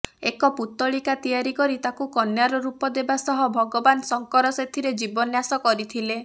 ଏକ ପୁତ୍ତଳିକା ତିଆରି କରି ତାକୁ କନ୍ୟାର ରୂପ ଦେବା ସହ ଭଗବାନ ଶଙ୍କର ସେଥିରେ ଜୀବନ୍ୟାସ କରିଥିଲେ